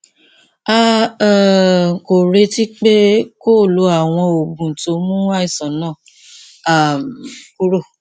a um kò retí pé kó o lo àwọn oògùn tó ń mú àìsàn náà um kúrò